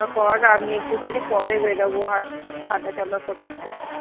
কর আমি একটুখানি পরে বেড়াবো হাঁট~ হাঁটাচলা করতে